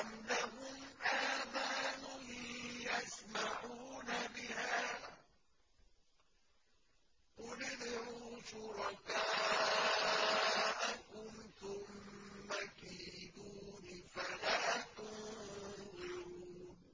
أَمْ لَهُمْ آذَانٌ يَسْمَعُونَ بِهَا ۗ قُلِ ادْعُوا شُرَكَاءَكُمْ ثُمَّ كِيدُونِ فَلَا تُنظِرُونِ